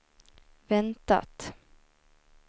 väntat